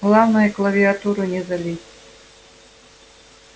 главное клавиатуру не залить